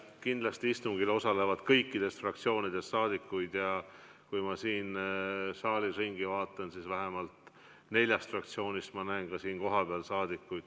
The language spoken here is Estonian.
Kindlasti osaleb istungil kõikidest fraktsioonidest rahvasaadikuid ja kui ma saalis ringi vaatan, siis näen vähemalt nelja fraktsiooni liikmeid ka siin kohapeal.